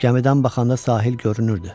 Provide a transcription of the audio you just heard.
Gəmidən baxanda sahil görünürdü.